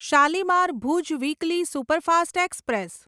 Shalimar Bhuj weekly superfast express